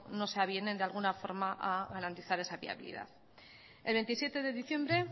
no avienen de alguna forma a garantizar esa viabilidad el veintisiete de diciembre